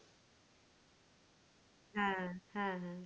হ্যাঁ হ্যাঁ